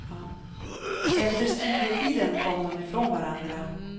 Efter studietiden kom de ifrån varandra.